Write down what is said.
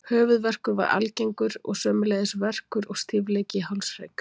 Höfuðverkur var algengur og sömuleiðis verkur og stífleiki í hálshrygg.